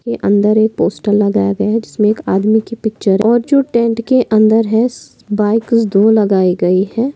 ये अंदर एक पोस्टर लगाया गया है जिसमे एक आदमी की पिक्चर है और जो टेंट के अंदर है बाईकर्स दो लगाये गए है।